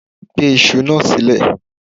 Gbe iṣu náà sílẹ̀